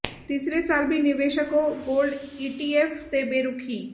तीसरे साल भी निवेशकों गोल्ड ईटीएफ से बेरुखी